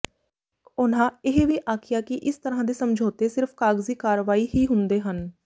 ਉਨ੍ਹਾਂ ਇਹ ਵੀ ਆਖਿਆ ਕਿ ਇਸ ਤਰ੍ਹਾਂ ਦੇ ਸਮਝੌਤੇ ਸਿਰਫ ਕਾਗਜ਼ੀ ਕਾਰਵਾਈ ਹੀ ਹੁੰਦੇ ਹਨ